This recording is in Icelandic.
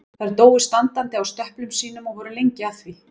Þær dóu standandi á stöplum sínum og voru lengi að því.